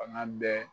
Fanga bɛ